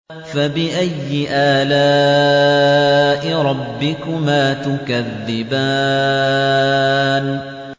فَبِأَيِّ آلَاءِ رَبِّكُمَا تُكَذِّبَانِ